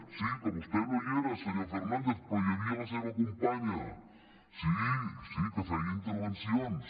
sí que vostè no hi era senyor fernández però hi havia la seva companya sí sí que feia intervencions